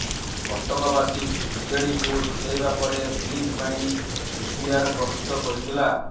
କଟକବାସୀ ବିଜେଡିକୁ ଜିତେଇବା ପରେ ବ୍ରିଜ ପାଇଁ ଡିପିଆର ପ୍ରସ୍ତୁତ କରିଥିଲା